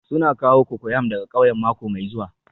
Suna kawo cocoyam daga ƙauyen mako mai zuwa